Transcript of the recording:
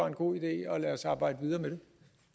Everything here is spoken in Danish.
en god idé og lad os arbejde videre med det